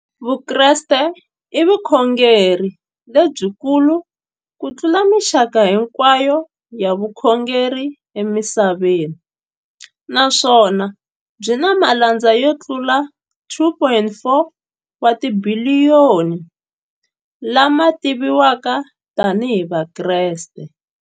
Vukreste i vukhongeri lebyi kulu kutlula mixaka hinkwayo ya vukhongeri emisaveni, naswona byi na malandza yo tlula 2.4 wa tibiliyoni, la ma tiviwaka tani hi Vakreste.